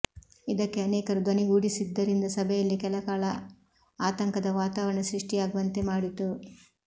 ಇದಕ್ಕೆ ಅನೇಕರು ಧ್ವನಿಗೂಡಿಸಿದ್ದರಿಂದ ಸಭೆಯಲ್ಲಿ ಕೆಲ ಕಾಲ ಆತಂಕದ ವಾತಾವರಣ ಸೃಷ್ಟಿಯಾಗುವಂತೆ ಮಾಡಿತು